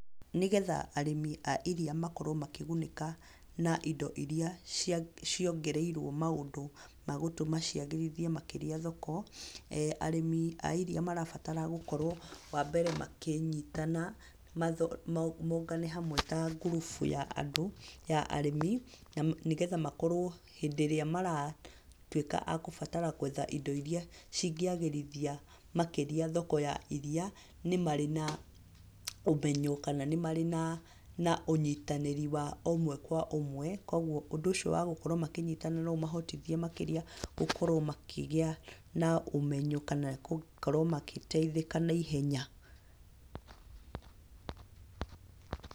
Nĩ getha arĩmi a iria makorwo makĩgunĩka na indo iria ciongereirwo maũndũ ma gũtũma ciagĩrithie makĩria thoko, arĩmi a iria marabatara gũkorwo wa mbere makĩnyitana mongane hamwe ta ngurubu ya andũ, ya arĩmi na nĩ getha makorwo hĩndĩ ĩrĩa maratwika agũbatara gwetha indo iria cingĩagĩrithia makĩria thoko ya iria nĩ marĩ na ũmenyo kana nĩ marĩ na ũnyitanĩri wa ũmwe kwa ũmwe, koguo ũndũ ũcio wa gũkorwo makĩnyitanĩra no ũmahotithie makĩria gũkorwo makĩgĩa na ũmenyo kana gũkorwo magĩteithĩka na ihenya.